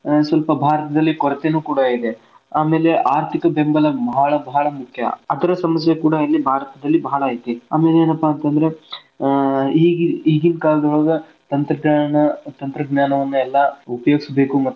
ಆ ಸ್ವಲ್ಪ ಭಾರತದಲ್ಲಿ ಕೊರತೇನು ಕೂಡಾ ಇದೆ ಆಮೇಲೆ ಆರ್ಥಿಕ ಬೆಂಬಲ ಬಾಳ್ ಬಾಳ್ ಮುಖ್ಯ ಅದರ ಸಮಸ್ಯೆ ಕೂಡಾ ನಮ್ಮ ಭಾರತದಲ್ಲಿ ಬಾಳ್ ಐತಿ ಆಮೇಲೇನಪ್ಪಾ ಅಂತಂದ್ರ ಆಹ್ ಇಗಿನಕಾಲದೊಳಗ ಎಲ್ಲಾ ಕಾರಣಗಳಿಗೆ ತಂತ್ರ~ ತಂತ್ರಜ್ಞಾನವನೆಲ್ಲಾ ಉಪಯೋಗಿಸ್ಬೇಕು ಮತ್ತ ಅದನ್ನ.